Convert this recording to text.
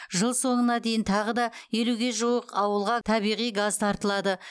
жыл соңына дейін тағы да елуге жуық ауылға табиғи газ тартылады